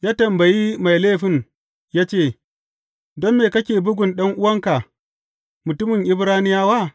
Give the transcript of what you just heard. Ya tambayi mai laifin ya ce, Don me kake bugun ɗan’uwanka, mutumin Ibraniyawa?